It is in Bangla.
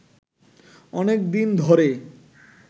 অনেক দিন ধরে